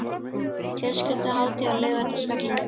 Fjölskylduhátíð á Laugardalsvellinum